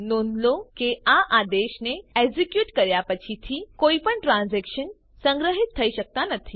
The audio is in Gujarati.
નોંધ લો કે આ આદેશને એક્ઝિક્યુટ કર્યા પછીથી કોઈ પણ ટ્રાન્ઝેક્શન્સ સંગ્રહિત થઇ શકતા નથી